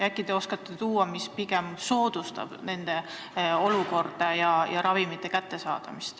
Äkki te oskate öelda, mis soodustab nende olukorda ja ravimite kättesaadavust.